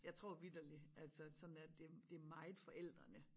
Jeg tror vitterligt altså sådan at det det meget forældrene